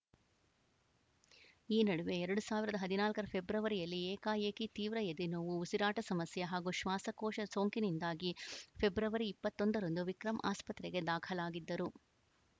ಈ ನಡುವೆ ಎರಡ್ ಸಾವಿರದ ಹದಿನಾಲ್ಕುರ ಫೆಬ್ರುವರಿಯಲ್ಲಿ ಏಕಾಏಕಿ ತೀವ್ರ ಎದೆನೋವು ಉಸಿರಾಟ ಸಮಸ್ಯೆ ಹಾಗೂ ಶ್ವಾಸಕೋಶ ಸೋಂಕಿನಿಂದಾಗಿ ಫೆಬ್ರವರಿಇಪ್ಪತ್ತ್ ಒಂದರಂದು ವಿಕ್ರಂ ಆಸ್ಪತ್ರೆಗೆ ದಾಖಲಾಗಿದ್ದರು